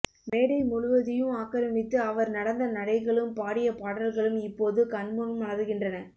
மேடை முழுவதையு ஆக்கிரமித்து அவர் நடந்த நடைகளும் பாடிய பாடல்களும் இப்போதும் கண்முன் மலர்கின்றன